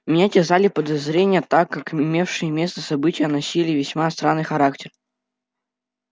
меня терзали подозрения так как имевшие место события носили весьма странный характер